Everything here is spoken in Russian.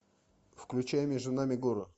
включай между нами горы